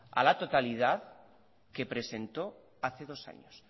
a la totalidad que presentó hace dos años